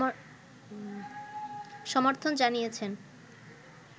সমর্থন জানিয়েছেন